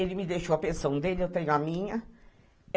Ele me deixou a pensão dele, eu tenho a minha.